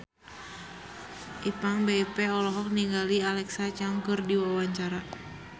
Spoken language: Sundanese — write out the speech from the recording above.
Ipank BIP olohok ningali Alexa Chung keur diwawancara